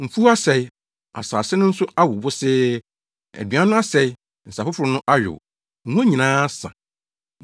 Mfuw asɛe, asase no so awo wosee aduan no asɛe nsa foforo no ayow ngo nyinaa asa.